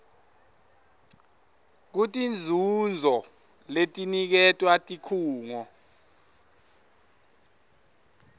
kutinzuzo letiniketwa tikhungo